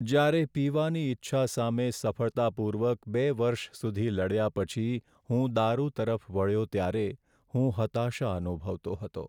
જ્યારે પીવાની ઇચ્છા સામે સફળતાપૂર્વક બે વર્ષ સુધી લડ્યા પછી હું દારૂ તરફ વળ્યો ત્યારે હું હતાશા અનુભવતો હતો.